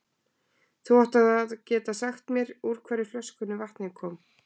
Þú átt þá að geta sagt mér úr hvorri flöskunni vatnið kom.